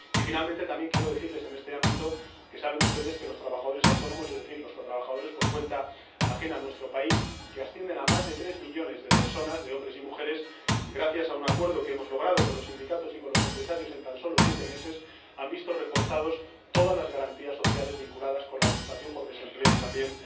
Y, finalmente, también quiero decirles, en este ámbito, que saben ustedes que los trabajadores autónomos, es decir, los trabajadores por cuenta ajena en nuestro país, que ascienden a más de tres millones de personas, de hombres y mujeres, gracias a un acuerdo que hemos logrado con los sindicatos y con los empresarios en tan solo siete meses han visto reforzadas todas las garantías sociales vinculadas con la prestación por desempleo y también